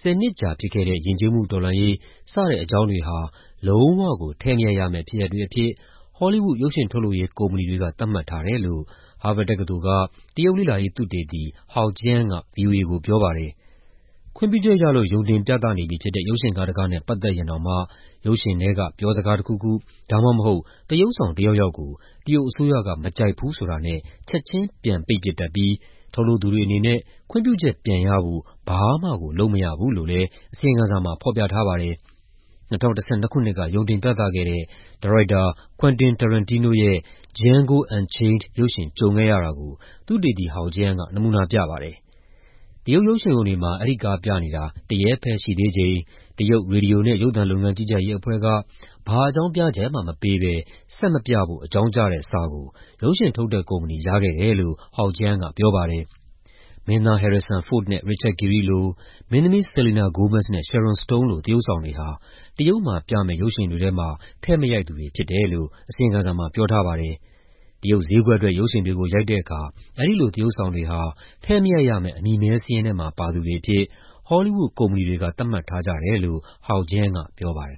၁၀ နှစ်ကြာဖြစ်ခဲ့တဲ့ ယဉ်ကျေးမှုတော်လှန်ရေး စတဲ့အကြောင်းတွေကို လုံးဝကို ထည့်မရိုက်ရမယ့် ဖြစ်ရပ်တွေအဖြစ် ဟောလီးဝုဒ် ရုပ်ရှင်ထုတ်လုပ်ရေး ကုမ္ပဏီတွေက သတ်မှတ်ထားတယ်လို့ ဟားဗတ်တက္ကသိုလ်က တရုတ်လေ့လာရေး သုတေသီ Hao Jian က ဗွီအိုအေကို ပြောပါတယ်။ ခွင့်ပြုချက်ရလို့ ရုံတင်ပြနေပြီဖြစ်တဲ့ ရုပ်ရှင်ကားတကားနဲ့ ပတ်သက်ရင်တောင်မှ ရုပ်ရှင်ထဲက ပြောစကားတခုခု ဒါမှမဟုတ် သရုပ်ဆောင်တယောက်ယောက်ကို အစိုးရက မကြိုက်ဘူးဆိုတာနဲ့ ချက်ချင်း ပြန်ပိတ်ပစ်တတ်ပြီး ထုတ်လုပ်သူတွေ အနေနဲ့ ခွင့်ပြုချက်ပြန်ရဖို့ ဘာမှကို လုပ်မရဘူးလို့လည်း အစီရင်ခံစာမှာ ဖော်ပြထားပါတယ်။ ၂၀၁၂ ခုနှစ်က ရုံတင်ပြသခဲ့တဲ့ ဒါရိုက်တာ Quentin Tarantino ရဲ့ Django Unchained ရုပ်ရှင် ကြုံခဲ့ရတာကို သုတေသီ Hao Jian က နမူနာပြပါတယ်။ တရုတ်ရုပ်ရှင်ရုံတွေမှာ အဲဒီကားပြနေတာ တရက်ပဲရှိသေးချိန် တရုတ် ရေဒီယိုနဲ့ ရုပ်သံလုပ်ငန်း ကြီးကြပ်ရေးအဖွဲ့က ဘာအကြောင်းပြချက်မှ မပေးဘဲ ဆက်မပြဖို့ အကြောင်းကြားတဲ့စာကို ရုပ်ရှင်ထုတ်တဲ့ကုမ္ပဏီ ရခဲ့တယ်လို့ Hao က ပြောပါတယ်။ မင်းသား Harrison Ford နဲ့ Richard Gere လို၊ မင်းသမီး Selena Gomez နဲ့ Sharon Stone လို သရုပ်ဆောင်တွေဟာ တရုတ်မှာပြမယ့် ရုပ်ရှင်တွေထဲမှာ ထည့်မရိုက်သူတွေ ဖြစ်တယ်လို့ အစီရင်ခံစာမှာ ပြောထားပါတယ်။ တရုတ်ဈေးကွက်အတွက် ရုပ်ရှင်တွေကို ရိုက်တဲ့အခါ အဲဒီလို သရုပ်ဆောင်တွေဟာ ထည့်မရိုက်ရမယ့် အမည်မည်းစာရင်းထဲမှာ ပါသူတွေအဖြစ် ဟောလီးဝုဒ် ကုမ္ပဏီတွေက သတ်မှတ်ထားကြတယ်လို့ Hao က ပြောပါတယ်